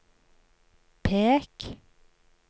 pek